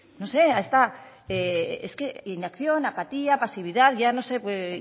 es que inacción apatía pasividad ya no sé